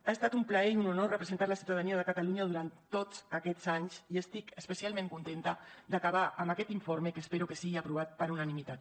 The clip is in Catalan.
ha estat un plaer i un honor representar la ciutadania de catalunya durant tots aquests anys i estic especialment contenta d’acabar amb aquest informe que espero que sigui aprovat per unanimitat